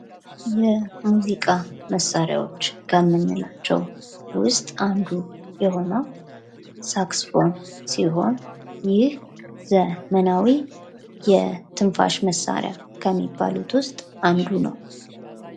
የሙዚቃ መሳሪያዎች ከምንላቸዉ ዉስጥ አንዱ የሆነዉ ሳክስፎን ሲሆን ይህ ዘመናዊ የትንፋሽ መሳሪያ ከሚባሉት ዉስጥ አንዱ ነዉ።